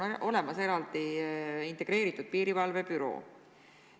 On olemas eraldi integreeritud piirivalvebüroo.